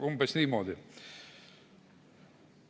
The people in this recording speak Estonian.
Umbes niimoodi.